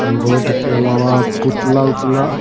board के अलावा पुतला-वुतला --